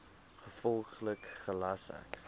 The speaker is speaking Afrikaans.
gevolglik gelas ek